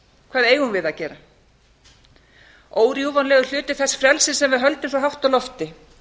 hvað eigum við að gera órjúfanlegur hluti þess frelsis sem við höldum svo hátt á lofti